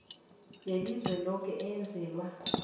welizwe loke eyenzelwa